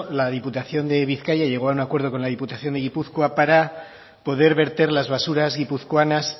la diputación de bizkaia llegó a un acuerdo con la diputación de gipuzkoa para poder verter las basuras guipuzcoanas